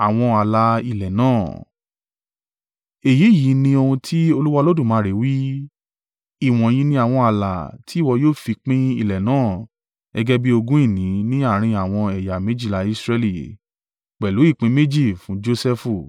Èyí yìí ní ohun tí Olúwa Olódùmarè wí: “Ìwọ̀nyí ni àwọn ààlà tí ìwọ yóò fi pín ilẹ̀ náà gẹ́gẹ́ bí ogún ìní ní àárín àwọn ẹ̀yà méjìlá Israẹli, pẹ̀lú ìpín méjì fún Josẹfu.